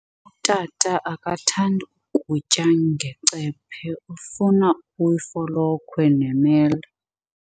Utata akathandi kutya ngecephe, ufuna ifolokhwe nemela.